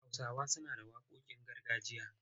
Hausawa suna da waƙoƙin gargajiya.